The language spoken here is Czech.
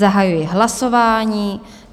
Zahajuji hlasování.